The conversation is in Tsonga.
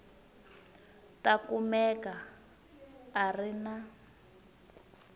ta kumeka a ri na